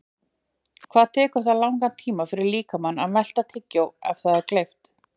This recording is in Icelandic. Hvað tekur það langan tíma fyrir líkamann að melta tyggjó ef það er gleypt?